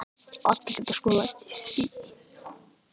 Allir geta lent í því.